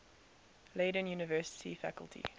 leiden university faculty